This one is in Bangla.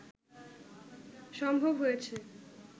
সম্ভব হয়েছে